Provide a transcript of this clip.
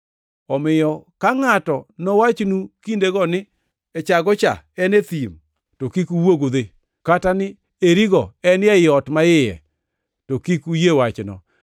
“Omiyo ka ngʼato nowachnu kindego ni, ‘Echago cha en e thim,’ to kik uwuogi udhi. Kata ni, ‘Eri go en ei ot maiye,’ to kik uyie wachno.